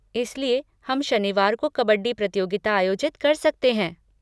इसलिए, हम शनिवार को कबड्डी प्रतियोगिता आयोजित कर सकते हैं।